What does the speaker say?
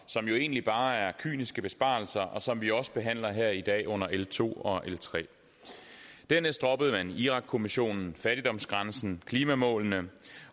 som jo egentlig bare er kyniske besparelser og som vi også behandler her i dag under l to og l tredje dernæst droppede man irakkommissionen fattigdomsgrænsen og klimamålene